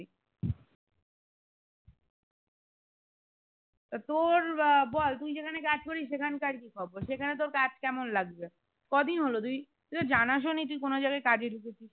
তোর বা বল তুই যেখানে কাজ করিস সেখান কার কি খবর সেখানে তোর কাজ কেমন লাগবে কদিন হলো তুই তো জানাসও নি তুই কোনো জায়গায় কাজে ঢুকেছিস।